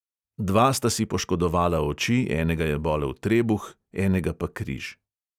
Dva sta si poškodovala oči, enega je bolel trebuh, enega pa križ.